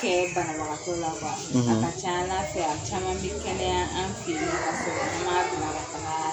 Kɛ banabagatɔ la ; A ka ca ala fɛ a caman bɛ kɛnɛya an fɛ yen nɔɔn ka sɔrɔ a ma donni ka taaga